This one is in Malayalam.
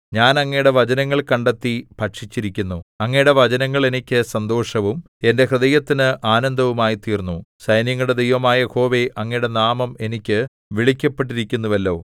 ഞാൻ അങ്ങയുടെ വചനങ്ങൾ കണ്ടെത്തി ഭക്ഷിച്ചിരിക്കുന്നു അങ്ങയുടെ വചനങ്ങൾ എനിക്ക് സന്തോഷവും എന്റെ ഹൃദയത്തിന് ആനന്ദവും ആയിത്തീർന്നു സൈന്യങ്ങളുടെ ദൈവമായ യഹോവേ അങ്ങയുടെ നാമം എനിക്ക് വിളിക്കപ്പെട്ടിരിക്കുന്നുവല്ലോ